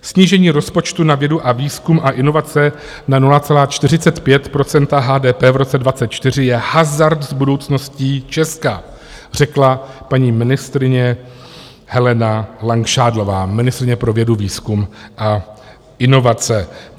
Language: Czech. Snížení rozpočtu na vědu, výzkum a inovace na 0,45 % HDP v roce 2024 je hazard s budoucností Česka, řekla paní ministryně Helena Langšádlová, ministryně pro vědu, výzkum a inovace.